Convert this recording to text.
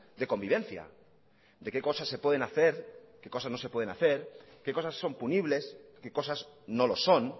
de convivencia de qué cosas se pueden hacer qué cosas no se pueden hacer qué cosas son punibles qué cosas no lo son